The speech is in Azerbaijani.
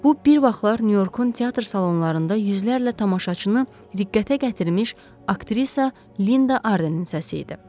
Bu bir vaxtlar Nyu-Yorkun teatr salonlarında yüzlərlə tamaşaçını diqqətə gətirmiş aktrisa Linda Ardenin səsi idi.